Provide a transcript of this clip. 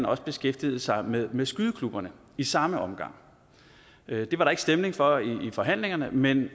også beskæftigede sig med med skydeklubberne i samme omgang det var der ikke stemning for i forhandlingerne men